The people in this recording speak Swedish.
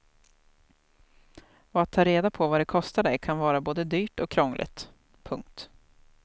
Och att ta reda på vad det kostar dig kan vara både dyrt och krångligt. punkt